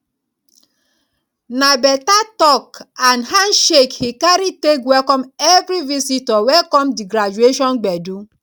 na better talk and handshake he carry take welcome everi visitor wey come di graduation gbedu